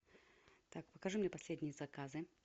так покажи мне последние заказы